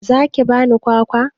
Za ki ban kwakwa?